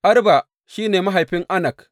Arba shi ne mahaifin Anak.